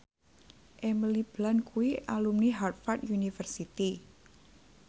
Emily Blunt kuwi alumni Harvard university